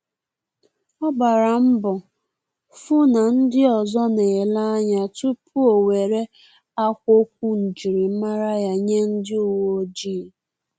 Ọ gbala mbo fu na ndị ọzọ na-ele anya tupu o nwere akwokwu njirimara ya nye ndị uweojii